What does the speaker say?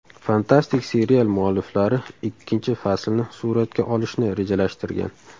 Fantastik serial mualliflari ikkinchi faslni suratga olishni rejalashtirgan.